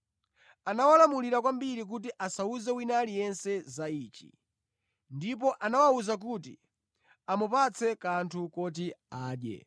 Anawalamulira kwambiri kuti asawuze wina aliyense za ichi, ndipo anawawuza kuti amupatse kanthu koti adye.